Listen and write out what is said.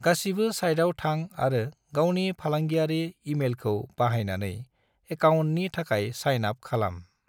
गासिबो साइटआव थां आरो गावनि फालांगियारि ईमेलखौ बाहायनानै ऐकाअन्टनि थाखाय साइन आप खालाम।